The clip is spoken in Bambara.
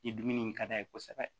Ni dumuni in ka d'a ye kosɛbɛ